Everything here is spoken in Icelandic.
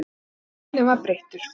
Og tónninn var breyttur.